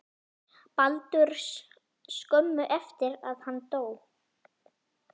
Baldurs skömmu eftir að hann dó.